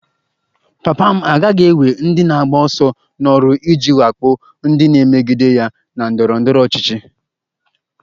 Papa m agaghị ewe ndị na-agba ọsọ n'ọrụ iji wakpo ndị na-emegide ya na ndọrọ ndọrọ ọchịchị